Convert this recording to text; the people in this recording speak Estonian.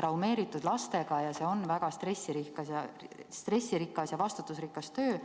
traumeeritud lastega, see on aga väga stressirikas ja vastutusrikas töö.